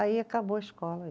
Aí acabou a escola.